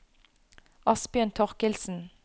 Asbjørn Thorkildsen